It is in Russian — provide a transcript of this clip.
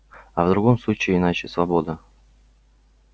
а в другом случае иначе свобода